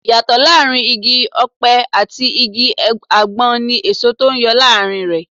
Ìyàtọ̀ láàárín Igi-ọpẹ àti igi àgbọn ní èso tó ń yọ lórí rẹ.